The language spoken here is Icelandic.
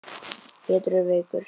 Pétur er veikur.